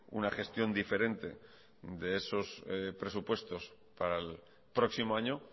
una gestión diferente de esos presupuestos para el próximo año